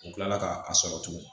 U kila la ka a sɔrɔ tugun